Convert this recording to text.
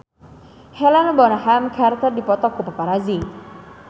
Helena Bonham Carter dipoto ku paparazi